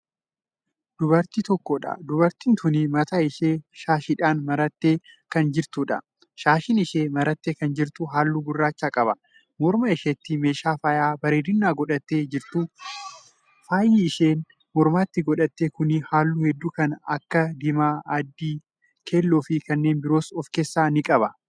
Dubartii tokkodha. dubartiin tuni mataa ishee shaashiidhaan marattee Kan jirtudha. shaashiin isheen marattee jirtu halluu gurraacha qaba. morma isheetti meeshaa faaya bareedinaa godhattee jirtu. faayi isheen mormatti godhatte Kuni halluu hedduu Kan Akka diimaa, adii, keelloofi kanneen biroos of keessaa ni qaba.